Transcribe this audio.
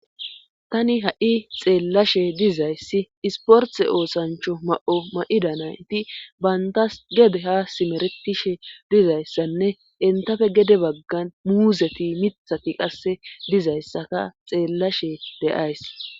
Tani ha7i xeellashe dizayssi isporthe oosancho ma7o ma7ida naynti bayntas gede ha simeretishe dizayssanne entafe gede baggan muuzeti mithati qasse dizayssaka xeellashe deays